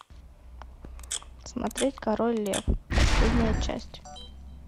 смотреть король лев последняя часть